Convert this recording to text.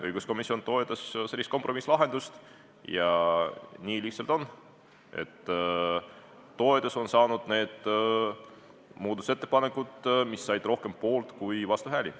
Õiguskomisjon toetas sellist kompromisslahendust ja nii lihtsalt on – toetuse said need muudatusettepanekud, mis said rohkem poolt- kui vastuhääli.